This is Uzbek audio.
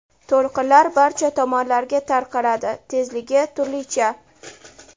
To‘lqinlar barcha tomonlarga tarqaladi, tezligi turlicha.